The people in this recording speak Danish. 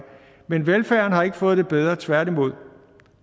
men velfærden har ikke fået det bedre tværtimod